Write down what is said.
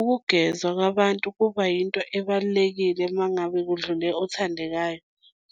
Ukugezwa kwabantu kuba yinto ebalulekile uma ngabe kudlule othandekayo